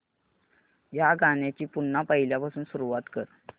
या गाण्या ची पुन्हा पहिल्यापासून सुरुवात कर